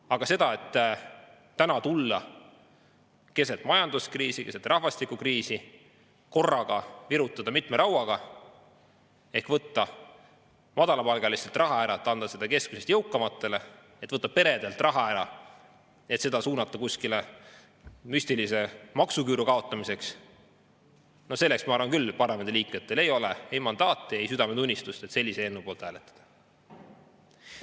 Aga et tulla praegu, keset majanduskriisi ja keset rahvastikukriisi ning virutada korraga mitme rauaga – võtta madalapalgalistelt raha ära, et anda seda keskmisest jõukamatele, võtta peredelt raha ära, et suunata seda kuskile müstilise maksuküüru kaotamiseks –, ma arvan, selleks küll parlamendiliikmetel mandaati ja südametunnistust ei ole, et sellise eelnõu poolt hääletada.